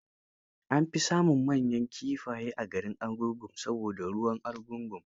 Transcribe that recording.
An fi samun manyan kifaye a garin Argungu saboda ruwan argungu.